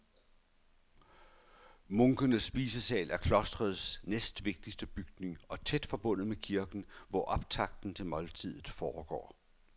Munkenes spisesal er klostrets næstvigtigste bygning og tæt forbundet med kirken, hvor optakten til måltidet foregår.